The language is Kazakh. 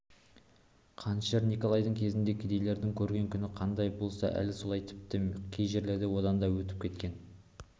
қанішер николайдың кезінде кедейдің көрген күні қандай болса әлі солай тіпті кей жерлерде одан да өтіп кеткен